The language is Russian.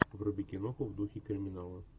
вруби киноху в духе криминала